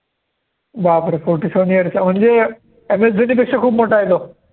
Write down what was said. बापरे! forty seven years म्हणजे MS धोनीपेक्षा खूप मोठा आहे तो.